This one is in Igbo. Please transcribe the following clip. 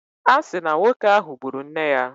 A si na nwoke ahụ gburu nne ya.